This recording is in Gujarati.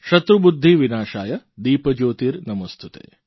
શત્રુબુદ્ધિવિનાશાય દીપજ્યોતિર્નમોસ્તુતે